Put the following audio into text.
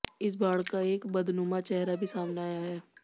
इस बाढ़ का एक बदनुमा चेहरा भी सामने आया है